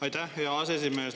Aitäh, hea aseesimees!